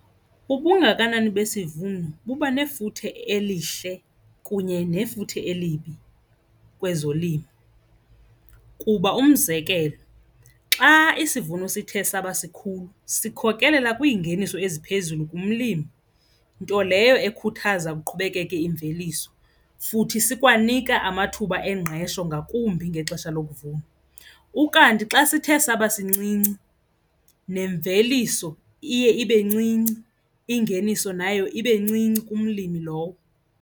Ubungakanani besivuno buba nefuthe elihle kunye nefuthe elibi kwezolimo. Kuba umzekelo, xa isivuno sithe saba sikhulu sikhokelela kwiingeniso eziphezulu kumlimi, nto leyo ekhuthaza kuqhubekeke imveliso futhi sikwanika amathuba engqesho ngakumbi ngexesha lokuvuna. Ukanti xa sithe saba sincinci nemveliso iye ibe ncinci, ingeniso nayo ibe ncinci kumlimi lowo.